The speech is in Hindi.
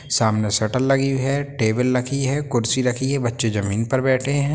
सामने शटर लगी हुई है टेबल रखी हैं कुर्सी रखी हैं बच्चे जमीन पर बैठे हैं।